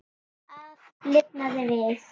Allt lifnaði við.